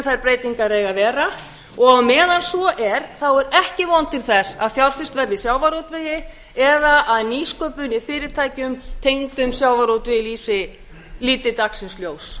þær breytingar eiga að vera á meðan svo er er ekki von til þess að fjárfest verði í sjávarútvegi eða að nýsköpun í fyrirtækjum tengdum sjávarútvegi líti dagsins ljós